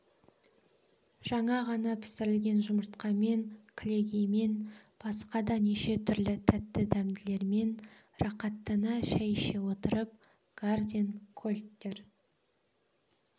жаңа ғана пісірілген жұмыртқамен кілегеймен басқа да неше түрлі тәтті-дәмділермен рақаттана шай іше отырып гарден кольттер